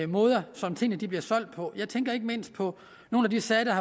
måder som tingene bliver solgt på jeg tænker ikke mindst på nogle af de sager der